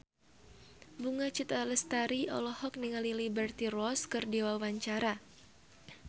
Bunga Citra Lestari olohok ningali Liberty Ross keur diwawancara